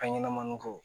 An ɲɛnɛmako